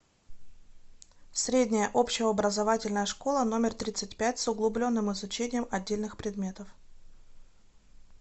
средняя общеобразовательная школа номер тридцать пять с углубленным изучением отдельных предметов